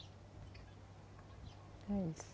É isso.